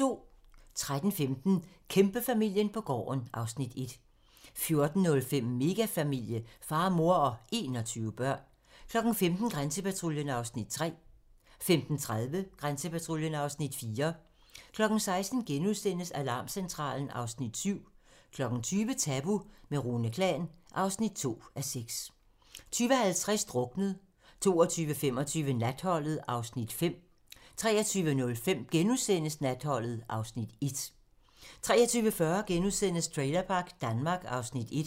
13:15: Kæmpefamilien på gården (Afs. 1) 14:05: Megafamilie - far, mor og 21 børn 15:00: Grænsepatruljen (Afs. 3) 15:30: Grænsepatruljen (Afs. 4) 16:00: Alarmcentralen (Afs. 7)* 20:00: Tabu - med Rune Klan (2:6) 20:50: Druknet 22:25: Natholdet (Afs. 5) 23:05: Natholdet (Afs. 1)* 23:40: Trailerpark Danmark (Afs. 1)*